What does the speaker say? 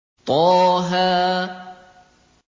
طه